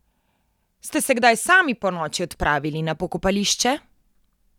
Ste se kdaj sami ponoči odpravili na pokopališče?